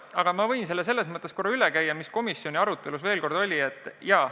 Aga ma võin veel korra üle käia, mida me komisjoni arutelus rääkisime.